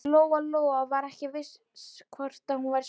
Lóa-Lóa var ekki viss um hvort hún væri sofandi.